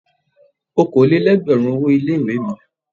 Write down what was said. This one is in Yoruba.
Okòó lé lẹ́gbẹ̀rún owó ilé ìwé mi.